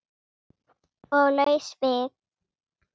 Og laus við